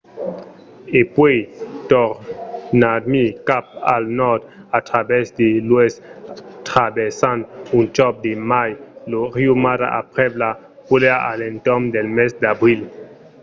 e puèi tornarmai cap al nòrd a travèrs de l'oèst traversant un còp de mai lo riu mara aprèp las pluèjas a l’entorn del mes d’abril